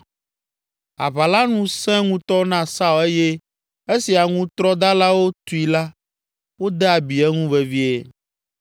Aʋa la nu sẽ ŋutɔ na Saul eye esi aŋutrɔdalawo tui la wode abi eŋu vevie.